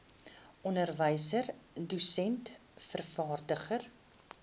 onderwyser dosent vervaardiger